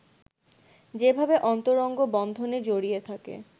যেভাবে অন্তরঙ্গ বন্ধনে জড়িয়ে থাকে